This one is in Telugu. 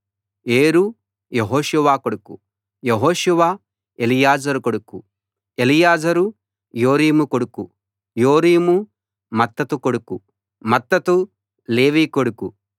ఏరు యెహోషువ కొడుకు యెహోషువ ఎలీయెజెరు కొడుకు ఎలీయెజెరు యోరీము కొడుకు యోరీము మత్తతు కొడుకు మత్తతు లేవి కొడుకు